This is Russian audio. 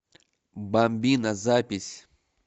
бамбино запись